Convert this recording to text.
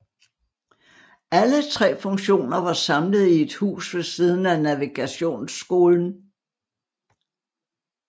Alle tre funktioner var samlet i et hus ved siden af Navigationsskolen